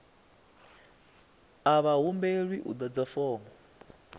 a vha humbelwi u ḓadza fomo